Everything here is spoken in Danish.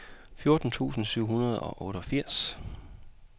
fjorten tusind syv hundrede og otteogfirs